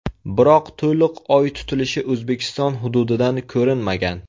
Biroq to‘liq oy tutilishi O‘zbekiston hududidan ko‘rinmagan.